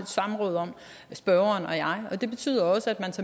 samråd om spørgeren og jeg det betyder også at